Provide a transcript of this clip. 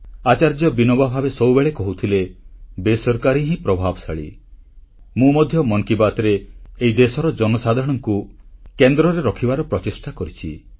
ଆଚାର୍ଯ୍ୟ ବିନୋବା ଭାବେ ସବୁବେଳେ କହୁଥିଲେ ବେସରକାରୀ ହିଁ ପ୍ରଭାବଶାଳୀ आचार्य विनोबा भावे हमेशा कहते थे असरकारी असरकारी ମୁଁ ମଧ୍ୟ ମନ୍ କି ବାତ୍ରେ ଏହି ଦେଶର ଜନସାଧାରଣଙ୍କୁ କେନ୍ଦ୍ରରେ ରଖିବାର ପ୍ରଚେଷ୍ଟା କରିଛି